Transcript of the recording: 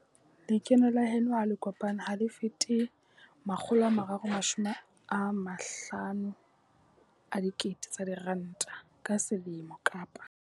Lekeno la heno ha le kopane ha le fete R350 000 ka selemo kapa.